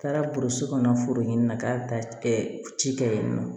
Taara burusi kɔnɔ foro in na k'a bɛ taa ci kɛ yen nɔ